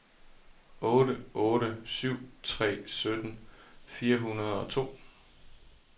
otte otte syv tre sytten fire hundrede og to